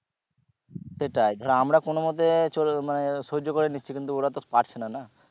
সেটাই ধরো আমরা কোনো মতে চরে~ মানে সহ্য করে নিচ্ছি কিন্তু ওরা তো পারছে না না